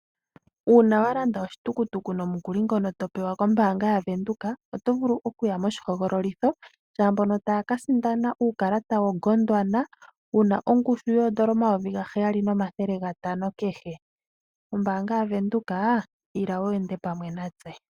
Uuna walanda oshitukutuku nomukuli ngono topewa kombaanga ya Venduka otovulu okuya moshihogololitho lyaambono taya ka sindana uukalata wo Gondwana wuna ongushu yoondola omayovi gaheyali nomathele gatano kehe . Ombaanga yaVenduka Ila wu endele pamwe natse